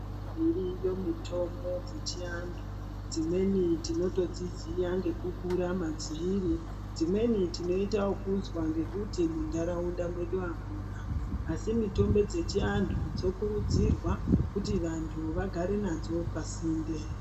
Dziriyo mitombo dzechiantu, dzimweni tinotodziziya ngekukura madziri dzimweni tinoita ekuzwa ngekuti muntaraunda mwedu amuna asi mitombo dzechivantu dzokurudzirwa kuti vantu vagare nadzo pasinde.